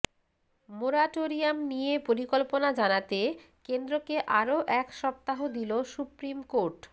moratorium নিয়ে পরিকল্পনা জানাতে কেন্দ্রকে আরও এক সপ্তাহ দিল সুপ্রিম কোর্ট